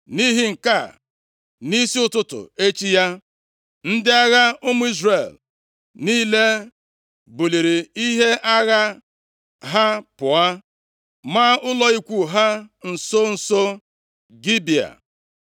Nʼihi nke a, nʼisi ụtụtụ echi ya, ndị agha ụmụ Izrel niile buliri ihe agha ha pụọ, maa ụlọ ikwu ha nso nso Gibea.